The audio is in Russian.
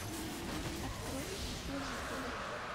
открой служители